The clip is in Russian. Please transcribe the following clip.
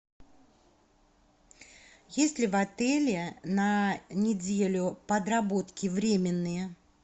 есть ли в отеле на неделю подработки временные